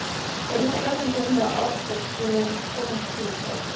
Hvernig er stemningin hjá Árborg fyrir komandi tímabil?